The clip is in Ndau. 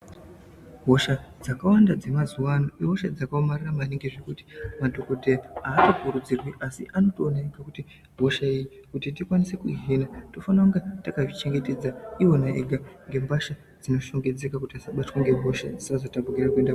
Hosha dzakawanda dzemazuwa ano ihosha dzakaomarara maningi zvekuti vantu kuti havambokurudzirwi asi kuti anotoona ega kuti hosha iyi kuti tikwanise kuihina tofanira kunge takazvichengetedza iwona ega nembasha dzinoshongedzeka kuti tisabatwawo ngehosha dzisazotapukire kuende ku....